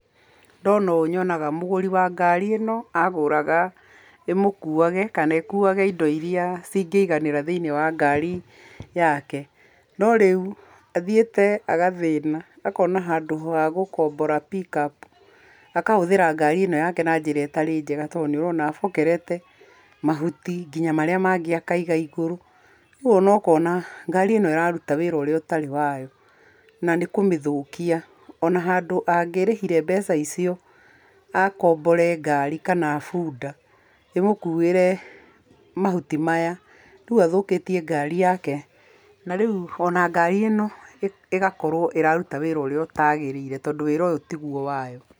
Ndona ũũ nyonaga mũgũri wa ngari ĩno, agũraga ĩmũkuage kana ĩkuage indo iria cingĩiganĩra thiĩnĩ wa ngari yake. No rĩu athiĩte agathĩna, akona handũ ha gũkombora pickup, akahũthĩra ngari ĩno yake na njĩra ĩtarĩ njega to nĩ ũrona abokerete mahuti nginya marĩa mangĩ akaiga igũrũ. Rĩu o na ũkona ngari ĩno ĩraruta wĩra ũtarĩ wayo na nĩ kũmĩthũkia. O na handũ angĩrĩhire mbeca icio akombore ngari kana bunda, ĩmũkuĩre mahuti maya. Rĩu athũkĩtie ngari yake, na rĩu o na ngari ĩno ĩgakorwo ĩraruta wĩra ũrĩa ũtaagĩrĩire tondũ wĩra ũyũ tigwo wayo.